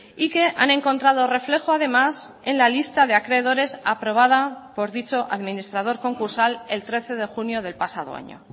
y que han encontrado reflejo además en la lista de acreedores aprobada por dicho administrador concursal el trece de junio del pasado año